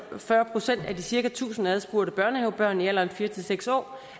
fyrre procent af de cirka tusind adspurgte børnehavebørn i alderen fire seks år